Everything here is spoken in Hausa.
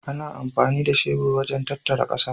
Ana amfani da shebur wajen tattara ƙasa.